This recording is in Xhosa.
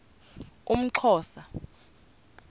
umxhosa